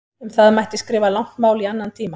Um það mætti skrifa langt mál í annan tíma.